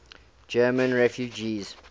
german refugees